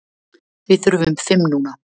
Við þurfum fimm núna.